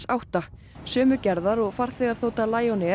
átta sömu gerðar og farþegaþota